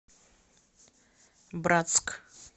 братск